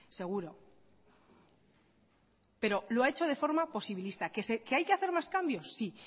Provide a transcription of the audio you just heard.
seguro pero lo ha hecho de forma posibilista qué hay que hacer más cambios sí